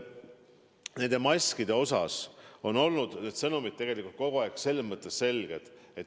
Nende maskide puhul on sõnumid tegelikult kogu aeg selged olnud.